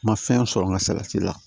Ma fɛn sɔrɔ n ka salati la